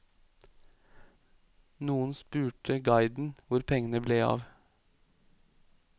Noen spurte guiden hvor pengene ble av.